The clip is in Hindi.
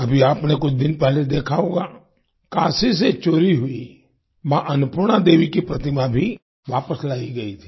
अभी आपने कुछ दिन पहले देखा होगा काशी से चोरी हुई मां अन्नपूर्णा देवी की प्रतिमा भी वापस लाई गई थी